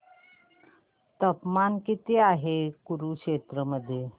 तापमान किती आहे कुरुक्षेत्र मध्ये